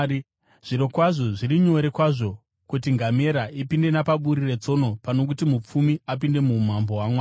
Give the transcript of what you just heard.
Zvirokwazvo, zviri nyore kwazvo kuti ngamera ipinde napaburi retsono pano kuti mupfumi apinde muumambo hwaMwari.”